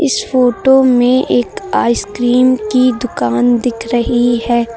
इस फोटो में एक आइसक्रीम की दुकान दिख रही है।